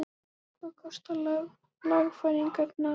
Hvað kosta lagfæringarnar?